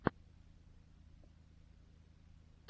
последний эпизод моторкиной